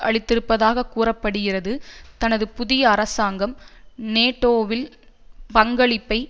அளித்திருப்பதாக கூற படுகிறது தனது புதிய அரசாங்கம் நேட்டோவில் பங்களிப்பை